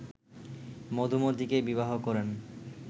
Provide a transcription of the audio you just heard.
মধুমতীকে বিবাহ করেন